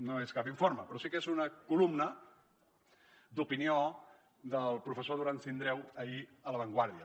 no és cap informe però sí que és una columna d’opinió del professor durán sindreu ahir a la vanguardia